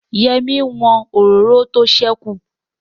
Yẹ́mi n wọn òróró tó sẹ́kù